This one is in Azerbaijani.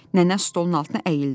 Nənə stolun altına əyildi.